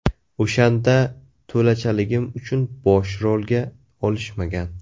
O‘shanda to‘lachaligim uchun bosh rolga olishmagan.